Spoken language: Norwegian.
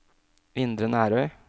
Indre Nærøy